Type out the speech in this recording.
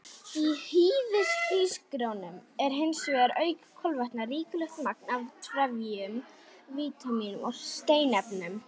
Í hýðishrísgrjónum er hins vegar, auk kolvetna, ríkulegt magn af trefjum, vítamínum og steinefnum.